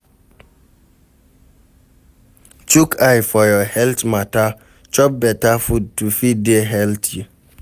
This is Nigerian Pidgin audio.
Chook eye for your health matter, chop better food to fit dey healthy